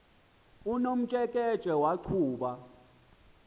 unomtsheke tshe waqhuba